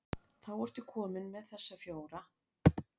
Þá ertu kominn með þessa fjóra.